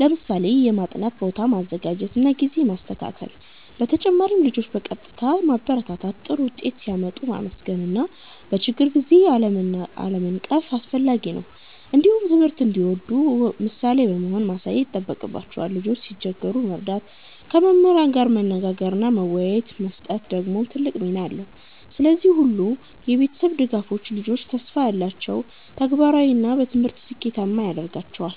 ለምሳሌ የማጥናት ቦታ ማዘጋጀት እና ጊዜ ማስተካከል። በተጨማሪም ልጆችን በቀጥታ ማበረታታት፣ ጥሩ ውጤት ሲያመጡ ማመስገን እና በችግር ጊዜ አለመናቀፍ አስፈላጊ ነው። እንዲሁም ትምህርት እንዲወዱ ምሳሌ በመሆን ማሳየት ይጠቅማል። ልጆች ሲቸገሩ መርዳት፣ ከመምህራን ጋር መነጋገር እና መመሪያ መስጠት ደግሞ ትልቅ ሚና አለው። እነዚህ ሁሉ የቤተሰብ ድጋፎች ልጆችን ተስፋ ያላቸው፣ ተግባራዊ እና በትምህርት ስኬታማ ያደርጋሉ።